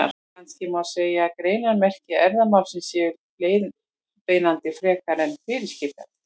Kannski má segja að greinarmerki erfðamálsins séu leiðbeinandi frekar en fyrirskipandi.